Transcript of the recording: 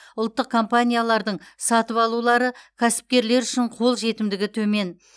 ұлттық компаниялардың сатып алулары кәсіпкерлер үшін қол жетімдігі төмен